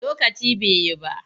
Lokaci ba yi ba.